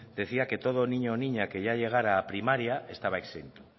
decían que todo niño o niña que ya llegara a primaria estaba exento